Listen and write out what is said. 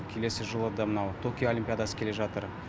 келесі жылы да мынау токио олимпиадасы келе жатыр